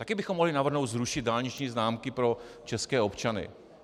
Také bychom mohli navrhnout zrušit dálniční známky pro české občany.